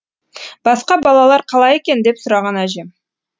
басқа балалар қалай екен деп сұраған әжем